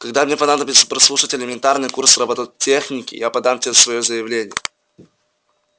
когда мне понадобится прослушать элементарный курс роботехники я подам тебе заявление